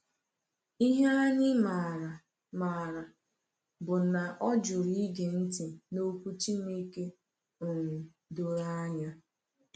Ihe anyị maara maara bụ na ọ jụrụ ịge ntị n’iwu Chineke um doro anya.